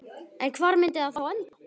En hvar myndi það þá enda?